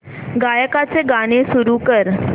गायकाचे गाणे सुरू कर